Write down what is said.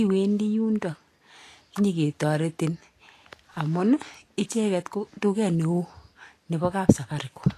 iwendi yundo nyiketoretin, amun, icheket ko duket neo nebo kap safaricon.